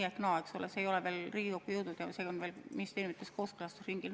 See eelnõu ei ole veel Riigikokku jõudnud, see on alles ministeeriumides kooskõlastusringil.